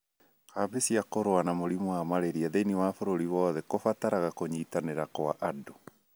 Kambĩni cia kũrũa na mũrimũ wa malaria thĩinĩ wa bũrũri wothe kũbataraga kũnyitanĩra kwa andũ